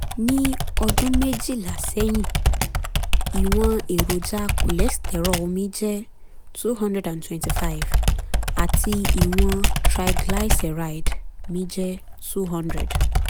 ní ọdún méjìlá sẹ́yìn ìwọ̀n èròjà cholesterol mi jẹ́ two hundred twenty five àti ìwọ̀n triglyceride mi jẹ́ two hundred